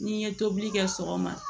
N'i ye tobili kɛ sɔgɔma